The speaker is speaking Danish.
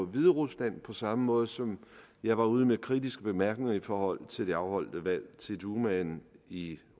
hviderusland på samme måde som jeg var ude med kritiske bemærkninger i forhold til det afholdte valg til dumaen i